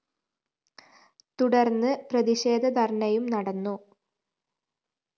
തുടര്‍ന്ന് പ്രതിഷേധ ധര്‍ണയും നടന്നു